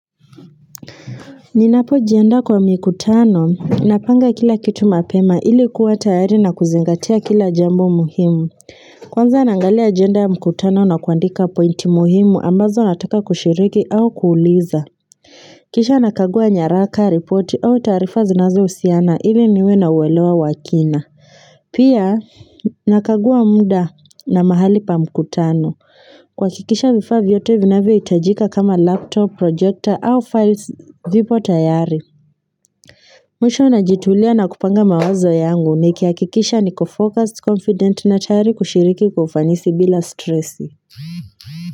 Ninapo jiandaa kwa mikutano, napanga kila kitu mapema ilikuwa tayari na kuzingatia kila jambo muhimu. Kwanza naangalia ajenda ya mkutano na kuandika pointi muhimu ambazo nataka kushiriki au kuuliza. Kisha nakagua nyaraka, report au taarifa zinazo husiana, ili niwe na uelewa wakina. Pia nakagua muda na mahali pa mkutano. Kuhakikisha vifavaa vyote vinavyo hitajika kama laptop, projector au files vipo tayari. Mwisho najitulia na kupanga mawazo yangu nikihakikisha ni kofocused confident na tayari kushiriki kwaufanisi bila stressi.